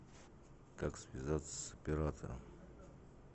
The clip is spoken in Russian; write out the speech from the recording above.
как связаться с оператором